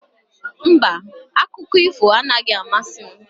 Mba, akụkọ ifo anaghị amasị m.